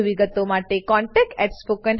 વધુ વિગતો માટે કૃપા કરી contactspoken tutorialorg પર લખો